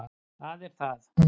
Það er það.